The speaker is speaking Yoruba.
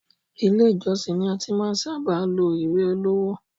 Ilé ìjósìn ni a ti ṣábà máa ń lo ìwé ìléwọ́.